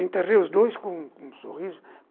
Entrei os dois com com com um sorriso.